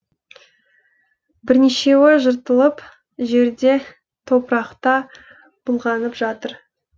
бірнешеуі жыртылып жерде топырақта былғанып жатыр